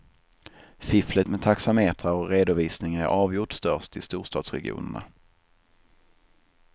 Fifflet med taxametrar och redovisningar är avgjort störst i storstadsregionerna.